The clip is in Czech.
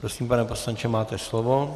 Prosím, pane poslanče, máte slovo.